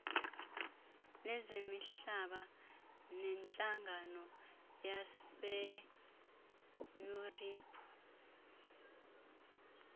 lezemihlaba nentlangano yaseyuriphu